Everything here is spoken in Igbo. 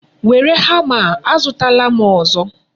Were hama a, azutala m ọzọ.